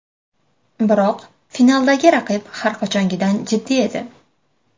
Biroq, finaldagi raqib har qachongidan jiddiy edi.